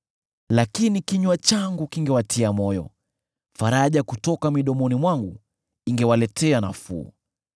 Lakini kinywa changu kingewatia moyo; faraja kutoka midomoni mwangu, ingewaletea nafuu.